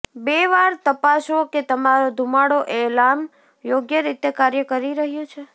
બે વાર તપાસો કે તમારો ધુમાડો એલાર્મ યોગ્ય રીતે કાર્ય કરી રહ્યું છે